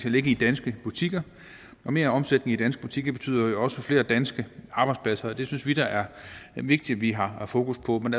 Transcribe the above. at ligge i danske butikker og mere omsætning i danske butikker betyder jo også flere danske arbejdspladser og det synes vi da er vigtigt at vi har fokus på men